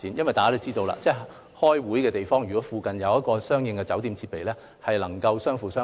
大家也知道，如果開會的地方附近設有酒店，兩個行業就能夠相輔相成。